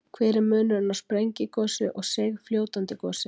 Hver er munurinn á sprengigosi og seigfljótandi gosi?